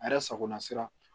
A yɛrɛ sagona sira